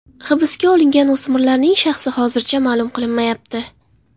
Hibsga olingan o‘smirlarning shaxsi hozircha ma’lum qilinmayapti.